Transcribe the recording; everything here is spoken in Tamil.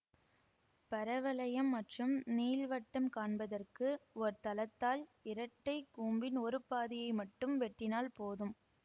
பரவளையம் மற்றும் நீள்வட்டம் காண்பதற்கு ஓர் தளத்தால் இரட்டை கூம்பின் ஒரு பாதியை மட்டும் வெட்டினால் போதும்